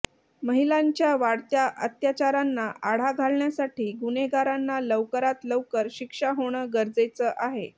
महिलांच्या वाढत्या अत्याचारांना आळा घालण्यासाठी गुन्हेगारांना लवकरात लवकर शिक्षा होणं गरजेचं आहे